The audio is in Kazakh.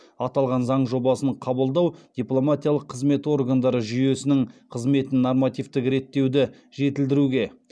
аталған заң жобасын қабылдау дипломатиялық қызмет органдары жүйесінің қызметін нормативтік реттеуді жетілдіруге